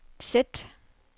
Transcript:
sæt